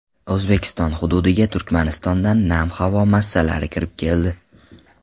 O‘zbekiston hududiga Turkmanistondan nam havo massalari kirib keldi.